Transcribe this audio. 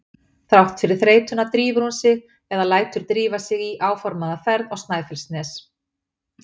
Þrátt fyrir þreytuna drífur hún sig eða lætur drífa sig í áformaða ferð á Snæfellsnes.